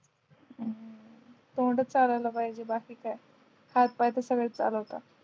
हो तोंड च चालवलं पाहिजे बाकी काय हात पाय तर सगळेच चालवतात